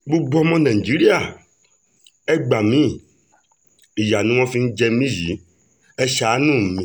gbogbo ọmọ nàìjíríà ẹ gbá mi ìyá ni wọ́n fi ń jẹ mí yìí ẹ̀ ṣàánú mi